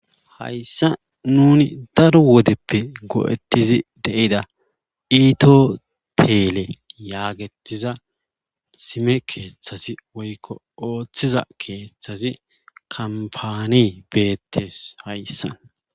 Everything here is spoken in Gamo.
Hayssa nuni daro wodeppe go'ettizi deida iitoteele yaagetiza sime keeththazi woykko ooththiza keeththazi kampani beettes hayssa